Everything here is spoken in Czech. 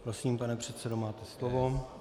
Prosím, pane předsedo, máte slovo.